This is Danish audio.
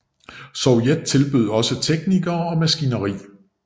Sovjet tilbød også teknikere og maskineri